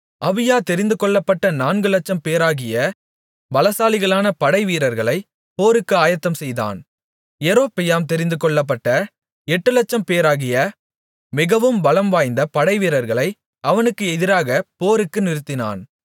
அபியா தெரிந்துகொள்ளப்பட்ட நான்குலட்சம்பேராகிய பலசாலிகளான படைவீரர்களைப் போருக்கு ஆயத்தம்செய்தான் யெரொபெயாம் தெரிந்துகொள்ளப்பட்ட எட்டுலட்சம்பேராகிய மிகவும் பலம்வாய்ந்த படைவீரர்களை அவனுக்கு எதிராக போருக்கு நிறுத்தினான்